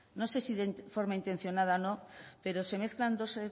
no sé si de forma intencionada o no pero se mezclan dos